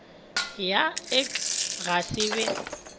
ya ik ga se be